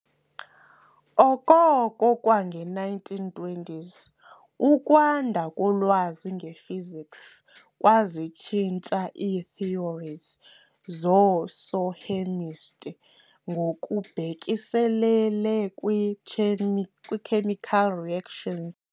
Okoko kwange-1920s, ukwanda kolwazi nge-physics kwazitshintsha ii-theories zoosohhemist' ngokubhekiselele kwiitshemi kwii-chemical reactions.